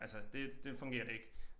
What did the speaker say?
Altså det det fungerer det ikke